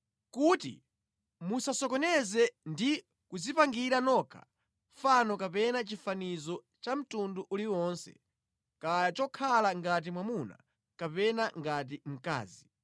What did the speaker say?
kuti musasokonezeke ndi kudzipangira nokha fano kapena chifanizo cha mtundu uliwonse, kaya chokhala ngati mwamuna kapena ngati mkazi,